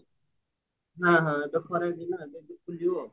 ହଁ ହଁ ଏବେ ଖରାଦିନ ଏବେଠୁ ଖୋଲିବ